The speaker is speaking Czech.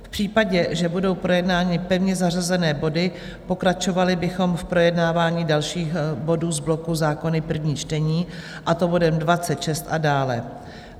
V případě, že budou projednány pevně zařazené body, pokračovali bychom v projednávání dalších bodů z bloku Zákony - první čtení, a to bodem 26 a dále.